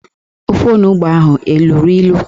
Ofe ahụ onugbo ahụ eluru ilu?